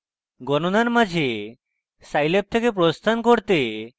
গণণার মাঝে scilab থেকে প্রস্থান করতে এবং